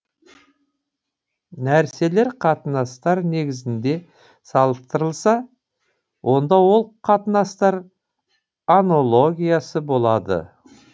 нәрселер қатынастар негізінде салыстырылса онда ол қатынастар анологиясы болады